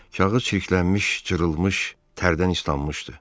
Kağız çirklənmiş, cırılmış, tərdən islanmışdı.